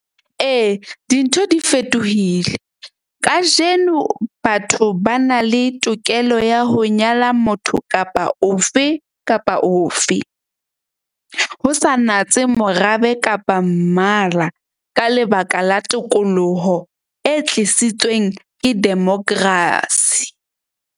Ee, dintho di fetohile. Kajeno batho ba na le tokelo ya ho nyala motho kapa ofe kapa ofe, ho sa natse morabe kapa mmala, ka lebaka la tokoloho e tlisitsweng ke democracy.